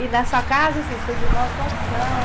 E na sua casa, assim, seus irmãos, quantos são?